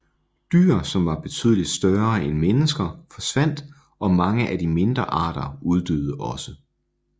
Dyr som var betydeligt større end mennesker forsvandt og mange af de mindre arter uddøde også